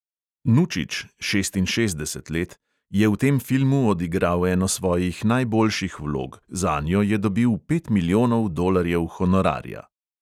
Nučič (šestinšestdeset let) je v tem filmu odigral eno svojih najboljših vlog, zanjo je dobil pet milijonov dolarjev honorarja.